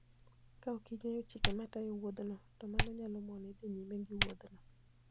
Kaok ing'eyo chike matayo wuodhno, to mano nyalo moni dhi nyime gi wuodhno.